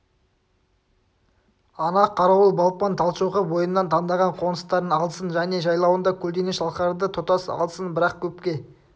ана қарауыл балпаң талшоқы бойынан таңдаған қоныстарын алсын және жайлауына көлденең шалқарды тұтас алсын бірақ көпке